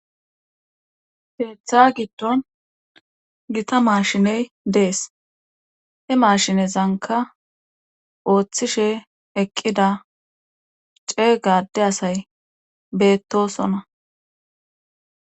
Heeththa giddon gita maashiney dees he maashine zanka ooththishe eqqida cee gade asay beettosona.